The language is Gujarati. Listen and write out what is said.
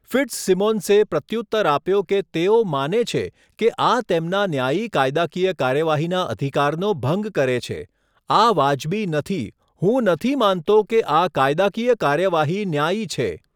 ફિટ્ઝસિમોન્સે પ્રત્યુત્તર આપ્યો કે તેઓ માને છે કે આ તેમના ન્યાયી કાયદાકીય કાર્યવાહીના અધિકારનો ભંગ કરે છે, 'આ વાજબી નથી. હું નથી માનતો કે આ કાયદાકીય કાર્યવાહી ન્યાયી છે.